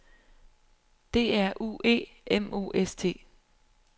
D R U E M O S T